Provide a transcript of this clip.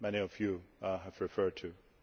Many of you have referred to